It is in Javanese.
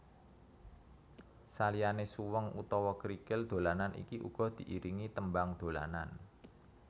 Saliyane suweng utawa krikil dolanan iki uga diiringi tembang dolanan